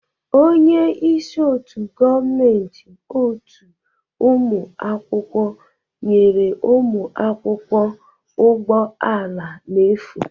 Onye isi otu gọọmentị otu ụmụ akwụkwọ nyere ụmụ akwụkwọ ụgbọ ala n'efu.